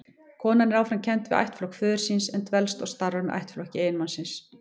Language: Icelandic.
Konan er áfram kennd við ættflokk föður síns, en dvelst og starfar með ættflokki eiginmannsins.